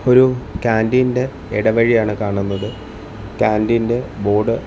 ഒരു കാന്റീൻ ഇടവഴിയാണ് കാണുന്നത് കാന്റീൻ ബോർഡ് --